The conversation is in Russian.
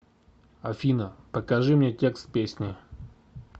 афина покажи мне текст песни